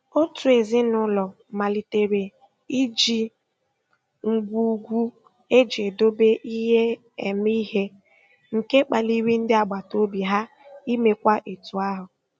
Otu ezinụụlọ malitere iji ngwugwu eji edobe ihe eme ihe, nke kpaliri ndị agbataobi ha imekwa etu ahụ.